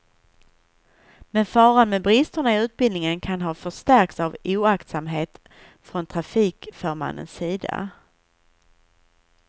Men faran med bristerna i utbildningen kan ha förstärkts av oaktsamhet från trafikförmannens sida.